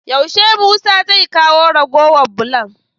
Yaushe musa zai kawo ragowar bulon?